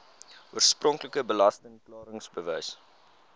oorspronklike belasting klaringsbewys